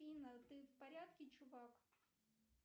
афина ты в порядке чувак